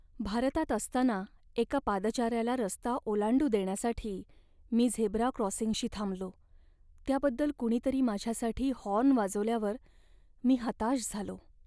भारतात असताना एका पादचाऱ्याला रस्ता ओलांडू देण्यासाठी मी झेब्रा क्रॉसिंगशी थांबलो, त्याबद्दल कुणीतरी माझ्यासाठी हॉर्न वाजवल्यावर मी हताश झालो.